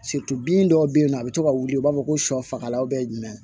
bin dɔw bɛ yen nɔ a bɛ to ka wuli u b'a fɔ ko sɔ fagalaw bɛ jumɛn